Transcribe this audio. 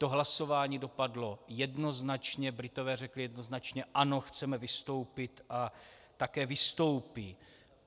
To hlasování dopadlo jednoznačně, Britové řekli jednoznačně ano, chceme vystoupit, a také vystoupí.